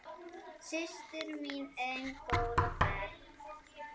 Systir mín ein, góða ferð.